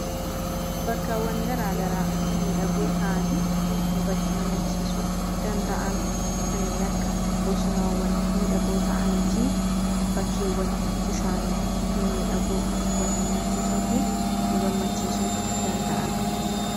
bakkaawwan garaagaraa milmiidhagoo ta'anii nu bashannansiisuu danda'an kanneen akka bosonaawwan miidhagoo ta'anii fi bakkeewwan bishaanii mimiidhagoo nu bashannansiisuu fi nu gammachiisuu danda'an